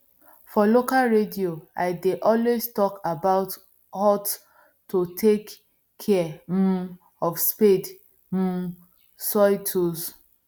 for local radio i dey always talk about hot to take care um of spade um soil tools